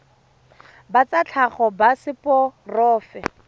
ba tsa tlhago ba seporofe